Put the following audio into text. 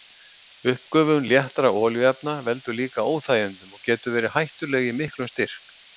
Uppgufun léttra olíuefna veldur líka óþægindum og getur verið hættuleg í miklum styrk.